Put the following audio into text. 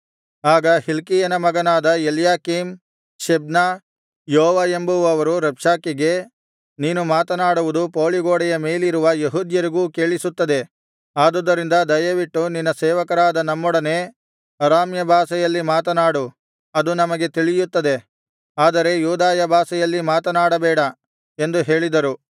ಆಗ ಹಿಲ್ಕೀಯನ ಮಗನಾದ ಎಲ್ಯಾಕೀಮ್ ಶೆಬ್ನ ಯೋವ ಎಂಬುವವರು ರಬ್ಷಾಕೆಗೆ ನೀನು ಮಾತನಾಡುವುದು ಪೌಳಿಗೋಡೆಯ ಮೇಲಿರುವ ಯೆಹೂದ್ಯರಿಗೂ ಕೇಳಿಸುತ್ತದೆ ಆದುದರಿಂದ ದಯವಿಟ್ಟು ನಿನ್ನ ಸೇವಕರಾದ ನಮ್ಮೊಡನೆ ಅರಾಮ್ಯ ಭಾಷೆಯಲ್ಲಿ ಮಾತನಾಡು ಅದು ನಮಗೆ ತಿಳಿಯುತ್ತದೆ ಆದರೆ ಯೂದಾಯ ಭಾಷೆಯಲ್ಲಿ ಮಾತನಾಡಬೇಡ ಎಂದು ಹೇಳಿದರು